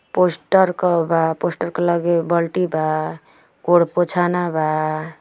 Poster क बा poster के लगे बल्टी बा गोड़ पोछना बा।